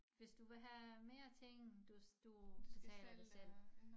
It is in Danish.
Hvis du vil have mere ting du du betaler det selv